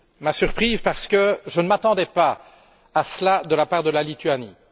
Ma surprise parce que je ne m'attendais pas à cela de la part de la Lituanie.